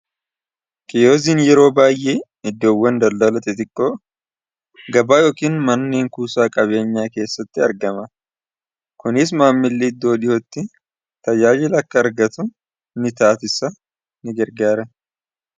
Kiyooziin yeroo baayee iddoowwan daldalati xiqqoo gabaa yookiin manneen kuusaa qabeenyaa keessatti argama. Kuniis maamillii iddoo dhihootti tajaajila akka argatu ni taatisa.